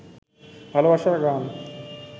ভালবাসার গান